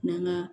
N'an ga